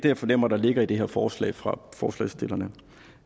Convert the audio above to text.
jeg fornemmer ligger i det her forslag fra forslagsstillerne